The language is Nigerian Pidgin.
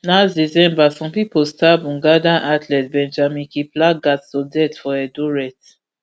last december some pipo stab ugandan athlete benjamin kiplagat to death for eldoret